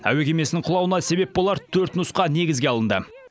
әуе кемесінің құлауына себеп болар төрт нұсқа негізге алынды